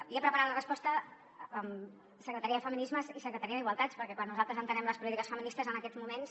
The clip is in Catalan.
havia preparat la resposta amb la secretaria de feminismes i la secretaria d’igualtat perquè quan nosaltres entenem les polítiques feministes en aquests moments